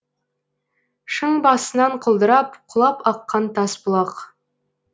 шың басынан құлдырап құлап аққан тас бұлақ